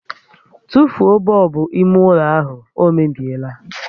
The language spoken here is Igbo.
Tụfuo bọlbụ ime ụlọ ahụ, ọ mebiela!